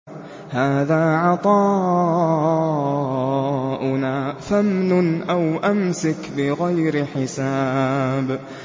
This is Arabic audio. هَٰذَا عَطَاؤُنَا فَامْنُنْ أَوْ أَمْسِكْ بِغَيْرِ حِسَابٍ